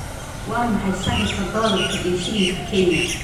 Waa maxay sarifka dollarka iyo shilinka Kenya?